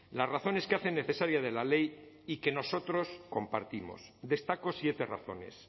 las razones que hacen necesaria de la ley y que nosotros compartimos destaco siete razones